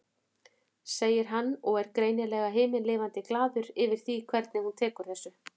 segir hann og er greinilega himinlifandi glaður yfir því hvernig hún tekur þessu.